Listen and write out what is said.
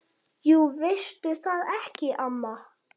Jú veistu það ekki, amma?